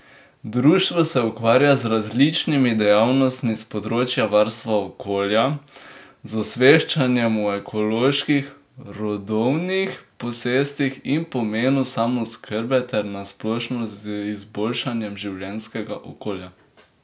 Društvo se ukvarja z različnimi dejavnostmi s področja varstva okolja, z osveščanjem o ekoloških rodovnih posestvih in pomenu samooskrbe ter na splošno z izboljšanjem življenjskega okolja.